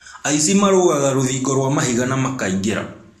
Aici marũgaga rũthingo rwa mahiga na makaingĩra